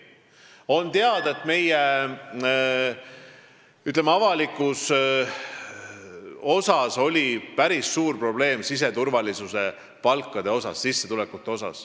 On teada, et meie, ütleme, avalikus sektoris oli päris suur probleem siseturvalisuse töötajate palgad, sissetulekud.